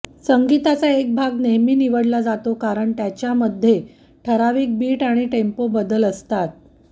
संगीताचा एक भाग नेहमी निवडला जातो कारण त्याच्यामध्ये ठराविक बीट आणि टेम्पो बदल असतात